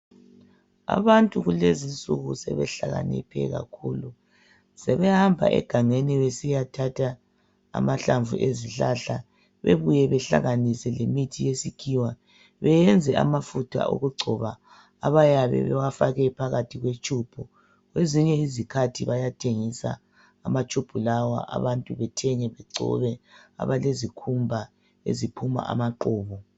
Abantu kulezinsuku sebehlakaniphe kakhulu. Sebehamba egangeni besiyathatha amahlamvu ezihlahla bebuye behlanganise lemithi yezikhiwa beyenze amafutha okugcoba abayabe bewafake phakathi kwe tshubhu. Kwezinye izikhathi bayathengisa amatshubhu lawa abantu bethenge begcobe abalezikhumba eziphuma abaqhubu.